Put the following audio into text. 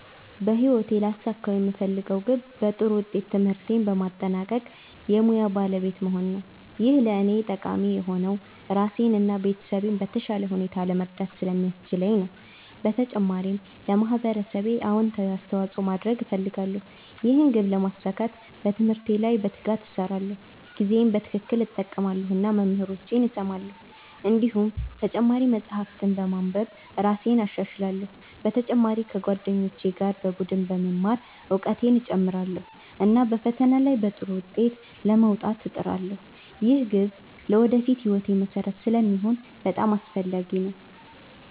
በህይወቴ ሊያሳኩት የምፈልገው ግብ ጥሩ ትምህርት በማጠናቀቅ ሙያ ባለቤት መሆን ነው። ይህ ለእኔ ጠቃሚ የሆነው ራሴን እና ቤተሰቤን በተሻለ ሁኔታ ለመርዳት ስለሚያስችለኝ ነው። በተጨማሪም ለማህበረሰቤ አዎንታዊ አስተዋፅኦ ማድረግ እፈልጋለሁ። ይህን ግብ ለማሳካት በትምህርቴ ላይ በትጋት እሰራለሁ፣ ጊዜዬን በትክክል እጠቀማለሁ እና መምህራኖቼን እሰማለሁ። እንዲሁም ተጨማሪ መጻሕፍት በማንበብ እራሴን እሻሻላለሁ። በተጨማሪ ከጓደኞቼ ጋር በቡድን በመማር እውቀቴን እጨምራለሁ፣ እና በፈተና ላይ በጥሩ ውጤት ለመውጣት እጥራለሁ። ይህ ግብ ለወደፊት ሕይወቴ መሠረት ስለሚሆን በጣም አስፈላጊ ነው።